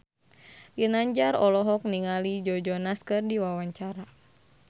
Ginanjar olohok ningali Joe Jonas keur diwawancara